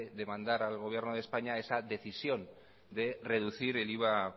de mandar al gobierno de españa esa decisión de reducir el iva